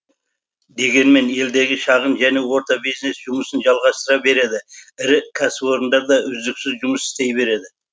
дегенмен елдегі шағын және орта бизнес жұмысын жалғастыра береді ірі кәсіпорындар да үздіксіз жұмыс істей береді